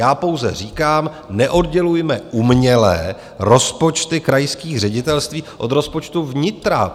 Já pouze říkám, neoddělujme uměle rozpočty krajských ředitelství od rozpočtu vnitra.